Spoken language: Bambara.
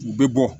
U bɛ bɔ